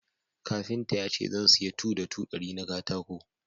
Kafinta ya ce zan siya 2 ta 2 dari na katako